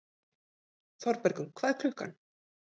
Þorbergur, hvað er klukkan?